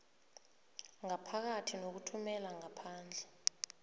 ngaphakathi nokuthumela ngaphandle